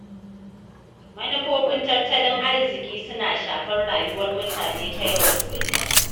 Manufofin tattalin arziƙi suna shafar rayuwar mutane ta yau da kullum.